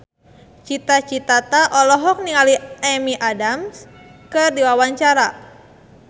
Cita Citata olohok ningali Amy Adams keur diwawancara